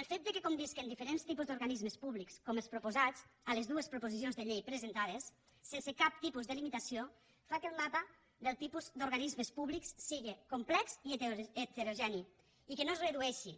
el fet que convisquin diferents tipus d’organismes públics com els proposats a les dues proposició de llei presentades sense cap tipus de limitació fa que el mapa del tipus d’organismes públics sigui complex i heterogeni i que no es redueixi